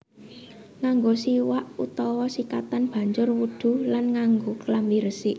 Nganggo siwak utawa sikatan banjur wudhu lan nganggo klambi resik